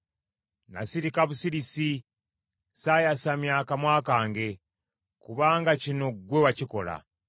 Nasirika busirisi, saayasamya kamwa kange; kubanga kino ggwe wakikola.